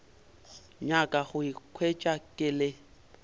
nyaka go ikhwetša ke le